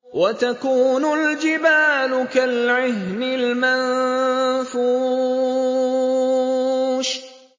وَتَكُونُ الْجِبَالُ كَالْعِهْنِ الْمَنفُوشِ